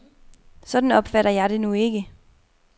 Sådan opfatter jeg det nu ikke.